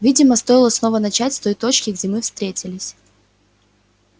видимо стоило снова начать с той точки где мы встретились